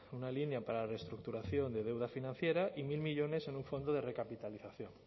una línea para la reestructuración de deuda financiera y mil millónes en un fondo de recapitalización